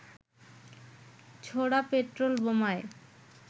ছোড়া পেট্রোল বোমায়